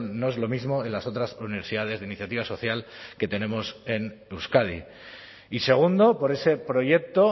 no es lo mismo en las otras universidades de iniciativa social que tenemos en euskadi y segundo por ese proyecto